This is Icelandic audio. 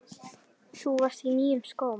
Þú varst á nýjum skóm.